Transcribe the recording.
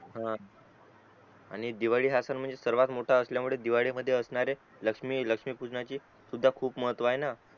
हा आणि दिवाळी हा सन म्हणजे सर्वात मोठा असल्या मुले दिवाळीमध्ये असणारे लक्ष्मी लक्ष्मी पूजनाची सुद्धा खूप महत्व आहे ना